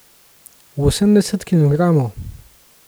Osemdeset kilogramov?